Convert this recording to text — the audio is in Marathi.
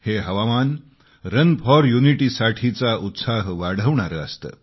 हे हवामान रन फॉर युनिटी साठीचा उत्साह वाढवणारे असते